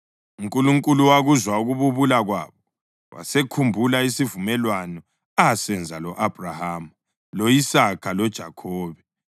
UNkulunkulu wakuzwa ukububula kwabo wasekhumbula isivumelwano asenza lo-Abhrahama, lo-Isaka loJakhobe.